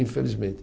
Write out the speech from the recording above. Infelizmente.